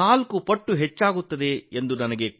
ನಾಲ್ಕು ಪಟ್ಟು ಹೆಚ್ಚಾಗುತ್ತದೆ ಎಂದು ನನಗೆ ಗೊತ್ತು